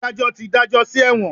Adajọ ti dajọ si ẹwọn.